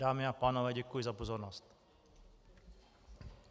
Dámy a pánové, děkuji za pozornost.